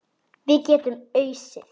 Við getum ausið.